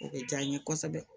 O bɛ diya n ye kosɛbɛ